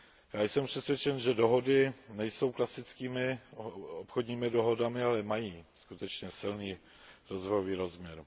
Já jsem přesvědčen, že dohody nejsou klasickými obchodními dohodami, ale mají skutečně silný rozvojový rozměr.